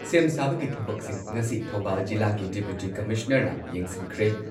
ꯁꯦꯝ ꯁꯥꯕꯒꯤ ꯊꯕꯛꯁꯤꯡ ꯉꯁꯤ ꯊꯧꯕꯥꯜ ꯖꯤꯂꯥꯒꯤ ꯗꯤꯄꯨꯇꯤ ꯀꯃꯤꯁꯅꯔꯅ ꯌꯦꯡꯁꯤꯟꯈ꯭ꯔꯦ꯫